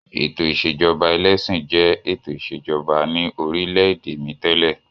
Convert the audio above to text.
Ètò ìṣèjọba ẹlẹ́sìn jẹ́ ètò ìṣèjọba ní orílẹ̀-èdè mi tẹ́lẹ̀.